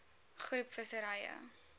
groep visserye